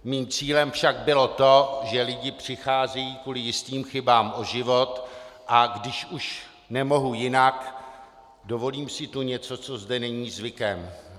Mým cílem však bylo to, že lidé přicházejí kvůli jistým chybám o život, a když už nemohu jinak, dovolím si tu něco, co zde není zvykem.